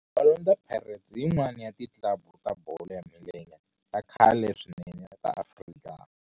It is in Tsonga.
Orlando Pirates i yin'wana ya ti club ta bolo ya milenge ta khale swinene ta Afrika.